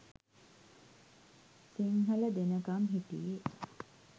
සිංහල දෙනකම් හිටියෙ.